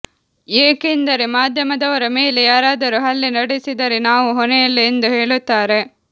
ಏಕೆಂದರೆ ಮಾಧ್ಯಮದವರ ಮೇಲೆ ಯಾರಾದರೂ ಹಲ್ಲೆ ನಡೆಸಿದರೆ ನಾವು ಹೊಣೆಯಲ್ಲ ಎಂದು ಹೇಳುತ್ತಾರೆ